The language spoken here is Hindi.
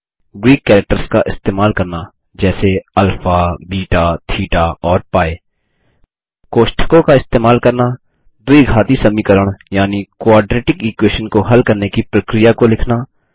ग्रीक कैरेक्टर्स का इस्तेमाल करना जैसे अल्फा बेटा थेटा और पी कोष्ठकों का इस्तेमाल करना द्विघाती समीकरण यानि क्वाड्रेटिक इक्वेशन को हल करने की प्रक्रिया को लिखना